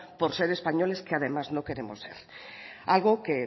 por ser españoles que además no queremos ser algo que